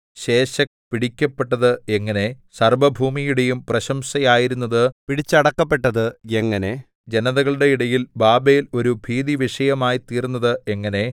Sheshach പിടിക്കപ്പെട്ടത് എങ്ങനെ സർവ്വഭൂമിയുടെയും പ്രശംസയായിരുന്നത് പിടിച്ചടക്കപ്പെട്ടത് എങ്ങനെ ജനതകളുടെ ഇടയിൽ ബാബേൽ ഒരു ഭീതിവിഷയമായിത്തീർന്നത് എങ്ങനെ